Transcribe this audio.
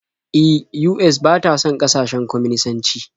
E, US ba ta son ƙasashen kwaminisanci.